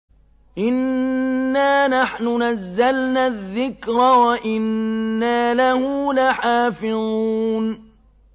إِنَّا نَحْنُ نَزَّلْنَا الذِّكْرَ وَإِنَّا لَهُ لَحَافِظُونَ